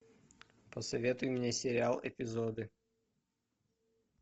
посоветуй мне сериал эпизоды